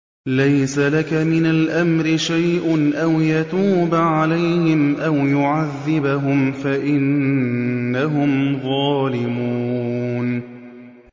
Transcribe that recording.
لَيْسَ لَكَ مِنَ الْأَمْرِ شَيْءٌ أَوْ يَتُوبَ عَلَيْهِمْ أَوْ يُعَذِّبَهُمْ فَإِنَّهُمْ ظَالِمُونَ